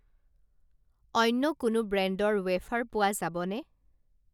অন্য কোনো ব্ৰেণ্ডৰ ৱেফাৰ পোৱা যাবনে?